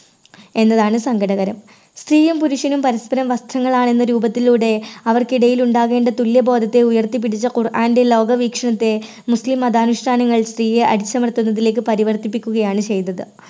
എന്നതാണ് സങ്കടകരം. സ്ത്രീയും പുരുഷനും പരസ്പരം വസ്ത്രങ്ങൾ ആണെന്ന രൂപത്തിലൂടെ അവർക്കിടയിൽ ഉണ്ടാകേണ്ട തുല്യ ബോധത്തെയും ഉയർത്തിപ്പിടിച്ച ഖുർആൻറെ ലോകവീക്ഷണത്തെ മുസ്ലിം മത അനുഷ്ഠാനങ്ങൾ തീരെ അടിച്ചമർത്തുന്നതിലേക്ക് പരിവർത്തിപ്പിക്കുകയാണ് ചെയ്തത്.